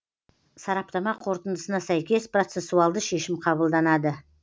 сараптама қорытындысына сәйкес процессуалды шешім қабылданады